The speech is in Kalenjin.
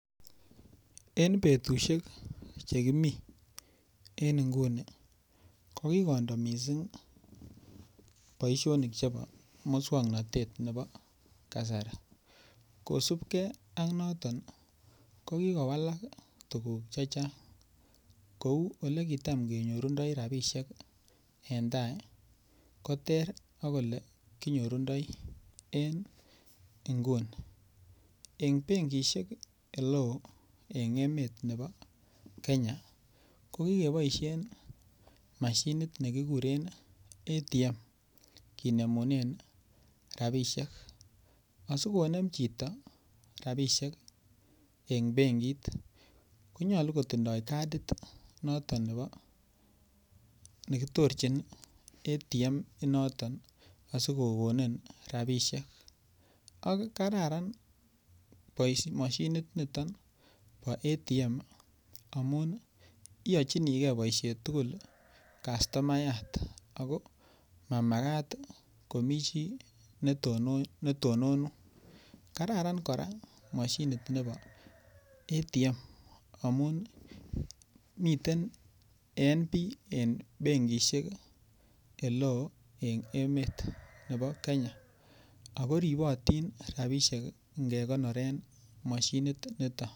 En betushek chekimi en nguni kokikondo mising' boishonik chebo muswong'natet nebo kasari kosupgei ak noton kokikowal tukuk chechang' kou olekitam kenyorundoi rapishek en tai ko ter ak ole kinyorundoi en inguni eng' benkishek ole oo eng' emet nebo Kenya kokikeboishen mashinit nekikuren ATM kinemunen rapishek asikonem chito rapishek eng' benkit konyolu kotindoi kadit noto nebo nekitorjin ATM in noton asikokonin rapishek ak kararan mashinit niton bo ATM amun iyochinigei boishonik tugul kastomayat ako mamakat komi chi netononun kararan kora mashinit nebo ATM amun miten en benkishek ole oo en emet nebo Kenya ako ripotin rapishek nekonoren mashinit nito